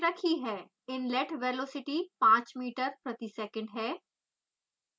inlet velocity 5 metre प्रति second है